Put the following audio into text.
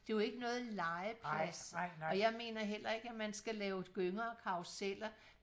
det er jo ikke noget legeplads og jeg mener heller ikke at man skal lave gynger og karruseller